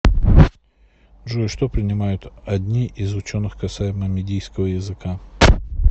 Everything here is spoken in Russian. джой что принимают одни из ученых касаемо мидийского языка